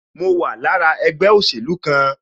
Mo wà lára ẹgbẹ́ òsèlú kan